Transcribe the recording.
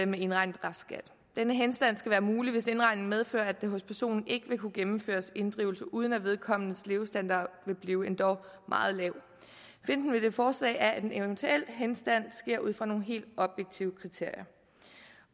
med indregnet restskat denne henstand skal være mulig hvis indregningen medfører at der hos personen ikke vil kunne gennemføres inddrivelse uden at vedkommendes levestandard vil blive endog meget lav pointen med det forslag er at en eventuel henstand sker ud fra nogle helt objektive kriterier